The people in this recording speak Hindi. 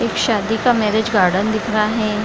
एक शादी का मैरिज गार्डन दिख रहा है।